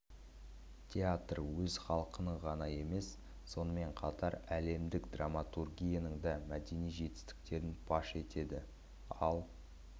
театр өз халқының ғана емес сонымен қатар әлемдік драматургияның да мәдени жетістіктерін паш етеді ал